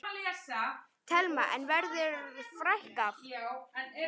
Telma: En verður fækkað?